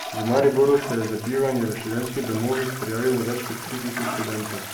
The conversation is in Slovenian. V Mariboru se je za bivanje v študentskih domovih prijavilo več kot tri tisoč študentov.